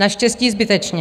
Naštěstí zbytečně.